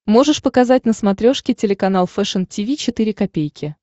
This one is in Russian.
можешь показать на смотрешке телеканал фэшн ти ви четыре ка